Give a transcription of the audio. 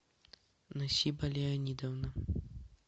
насиба леонидовна